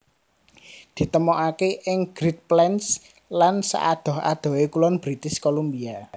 Ditemokaké ing Great Plains lan saadoh adohé kulon British Columbia